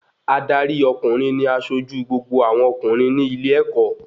Adarí ọkùnrin ní asojú gbogbo àwọn ọkùnrin ní ilé-ẹ̀kọ́